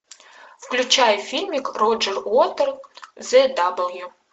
включай фильмик роджер уотерс зе дабл ю